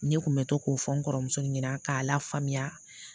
Ne kun bɛ to k'o fɔ n kɔrɔmuso ɲɛna k'a lafaamuya